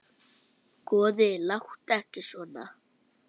Góði, láttu ekki svona.